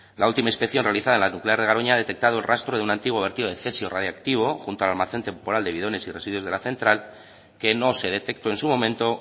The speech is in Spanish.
la última inspección realizada en la nuclear de garoña ha detectado el rastro de un antiguo vertido de cesio radiactivo junto al almacén temporal de bidones y residuos de la central que no se detectó en su momento